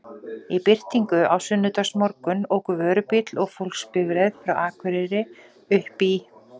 Í birtingu á sunnudagsmorgun óku vörubíll og fólksbifreið frá Akureyri uppí